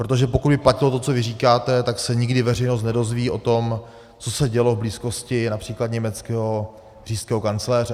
Protože pokud by platilo to, co vy říkáte, tak se nikdy veřejnost nedozví o tom, co se dělo v blízkosti například německého říšského kancléře.